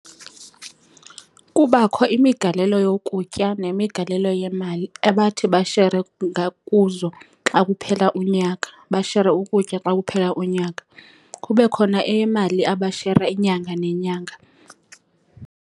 Kubakho imigalelo yokutya nemigalelo yemali ebathi bashere kuzo xa kuphela unyaka. Bashere ukutya xa kuphela unyaka, kube khona eyemali abashera inyanga nenyanga.